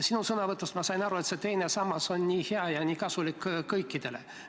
Sinu sõnavõtust ma sain aru, et teine sammas on nii hea ja nii kasulik kõikidele.